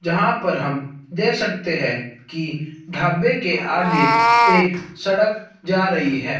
जहां पर हम दे सकते है की ढाबे के आगे एक सड़क जा रही है।